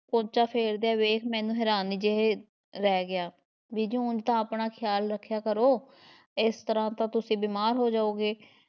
ਪੋਚਾ ਫ਼ੇਰਦਿਆਂ ਵੇਖ ਮੈਨੂੰ ਹੈਰਾਨ ਜਿਹੇ ਰਹਿ ਗਿਆ, ਬੀਜੀ ਹੁਣ ਤਾਂ ਆਪਣਾ ਖਿਆਲ ਰੱਖਿਆ ਕਰੋ ਏਸ ਤਰ੍ਹਾਂ ਤਾਂ ਤੁਸੀਂ ਬਿਮਾਰ ਹੋ ਜਾਓਗੇ।